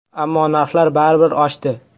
Ammo narxlar baribir oshdi.